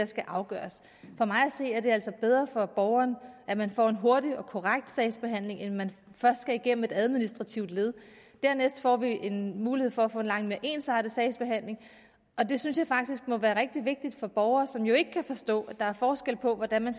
skal afgøres for mig at se er det altså bedre for borgeren at man får en hurtig og korrekt sagsbehandling end at man først skal igennem et administrativt led dernæst får vi en mulighed for at få en langt mere ensartet sagsbehandling og det synes jeg faktisk må være rigtig vigtigt for borgere som jo ikke kan forstå at der er forskel på hvordan man